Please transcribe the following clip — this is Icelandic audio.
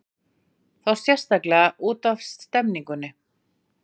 Þá sérstaklega útaf stemningunni.